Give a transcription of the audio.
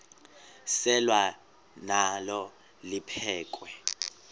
selwa nalo liphekhwe